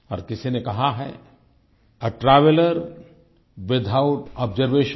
और किसी ने कहा है आ ट्रैवेलर विथआउट अब्जर्वेशन